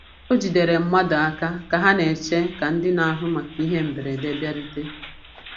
O jidere mmadụ aka ka ha na-eche ka ndị na-ahụ maka ihe mberede bịarute.